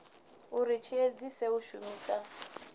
uri tshi edzise u shumisa